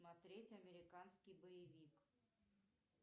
смотреть американский боевик